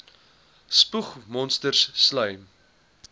spoeg monsters slym